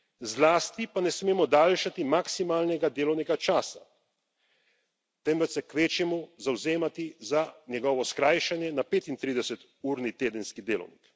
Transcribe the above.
Zlasti pa ne smemo daljšati maksimalnega delovnega časa, temveč se kvečjemu zavzemati za njegovo skrajšanje na 35 urni tedenski delovnik.